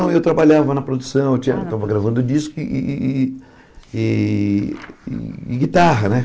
Não, eu trabalhava na produção, eu tinha estava gravando disco e e e e e guitarra, né?